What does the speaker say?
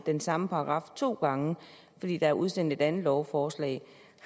den samme paragraf to gange fordi der er udsendt et andet lovforslag